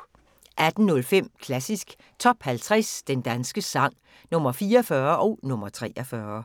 18:05: Klassisk Top 50 Den danske sang – Nr. 44 og nr. 43